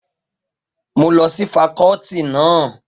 Mo lọ sí fakọ́ọ́tì náà.